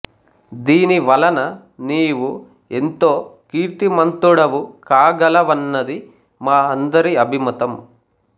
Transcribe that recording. దీనివలన నీవు ఎంతో కీర్తిమంతుడవు కాగలవన్నది మా అందరి అభిమతం